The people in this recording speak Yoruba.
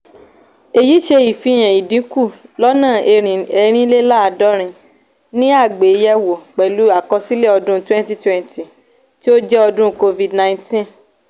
èyí ṣe ìfihàn ìdínkù lọ́nà erinleladorin ni àgbéyè wò pèlú àkọsílẹ̀ ọdún 2020 tí ó jẹ́ ọdún covid-19.